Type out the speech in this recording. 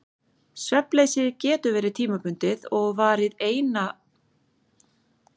Svefnleysið getur verið tímabundið og varað eina nótt eða síendurtekið og þrálátt.